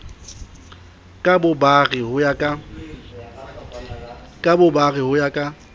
ka bobare ho ya ka